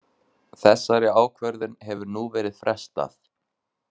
Þessari ákvörðun hefur nú verið frestað